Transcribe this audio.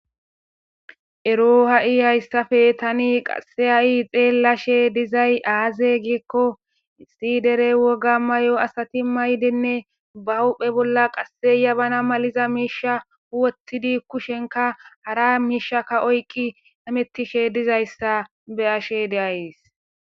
Ero ha7i hayssape tani ha7i xeellashe dizayssi aaze gizayssa gidikko issi dere woga mayo asatimayidinne bahuuphe bolla jabana misatiza miishsha wothidi kushenkka hara miishekka oyqqi hamettishe dizayssa beyayssi.